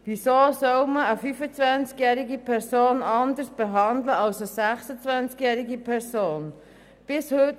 Weshalb soll eine 25-jährige Person anders behandelt werden als eine 26-jährige?